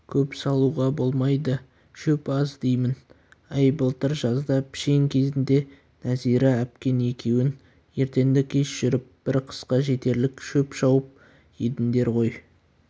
көп салуға болмайды шөп аз деймін әй былтыр жазда пішен кезінде нәзира әпкең екеуің ертеңді-кеш жүріп бір қысқа жетерлік шөп шауып едіңдер ғой